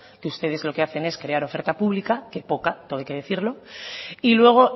que ustedes lo que hacen es crear oferta pública que poca todo hay que decirlo y luego